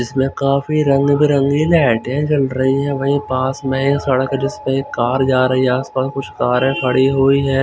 इसमें काफी रंग बिरंगी लैटे जल रही है भई पास में सड़क जिसपे कार जा रही आस पास कुछ कारे खड़ी हुई है।